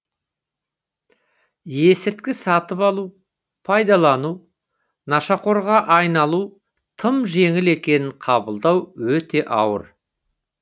есірткі сатып алу пайдалану нашақорға айналу тым жеңіл екенін қабылдау өте ауыр